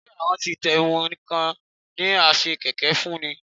Ṣé àwọn tí ń tẹmu nìkan ni a ṣe kẹ̀kẹ́ fún ni?